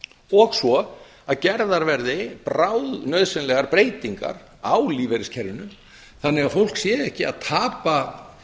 og svo að gerðar verði bráðnauðsynlegar breytingar á lífeyriskerfinu þannig að fólk sé ekki að tapa